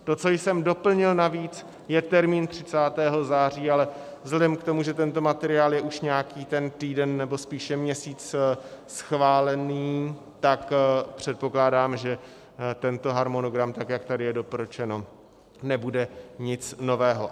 To, co jsem doplnil navíc, je termín 30. září, ale vzhledem k tomu, že tento materiál je už nějaký ten týden, nebo spíše měsíc schválen, tak předpokládám, že tento harmonogram tak, jak tady je doporučeno, nebude nic nového.